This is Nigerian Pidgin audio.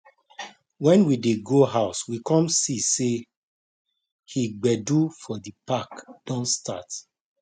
when we dey go house we come see say he gbedu for the park don start